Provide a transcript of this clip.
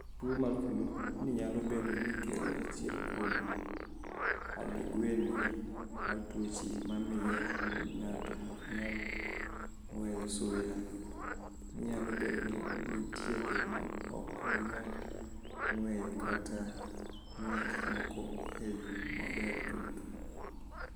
Tuwo mar flu niyalo bedo nii kelo achiel kuom anig'weni mar tuoche ma miyo nig'ato ok niyal nig'weyo suya niyalo bedo nii niitie joma ok niyal nig'weyo kata nig'weyo gik moko e yo maber chuth.(Anosmia)